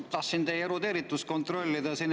No tahtsin teie erudeeritust kontrollida.